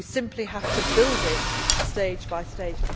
Member States. We simply have to build